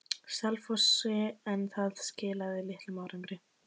Selfossi, en það skilaði litlum árangri.